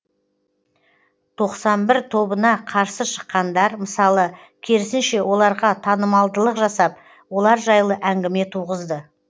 тоқсан бір тобына қарсы шыққандар мысалы керісінше оларға танымалдылық жасап олар жайлы әңгіме туғызды